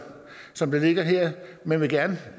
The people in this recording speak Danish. som det ligger her men vi